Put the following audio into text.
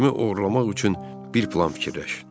Cimi oğurlamaq üçün bir plan fikirləş.